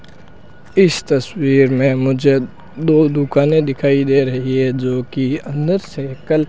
इस तस्वीर में मुझे दो दुकानें दिखाई दे रही है जो की अंदर से कल --